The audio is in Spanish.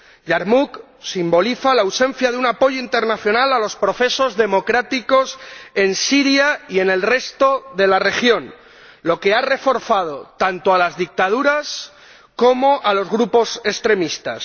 Yarmuk simboliza la ausencia de un apoyo internacional a los procesos democráticos en Siria y en el resto de la región, lo que ha reforzado tanto a las dictaduras como a los grupos extremistas.